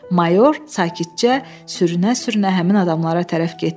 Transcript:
Mayor sakitcə sürünə-sürünə həmin adamlara tərəf getdi.